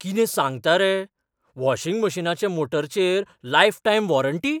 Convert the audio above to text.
कितें सांगता रे? वॉशिंग मशिनाच्या मोटरचेर लायफटायम वॉरंटी?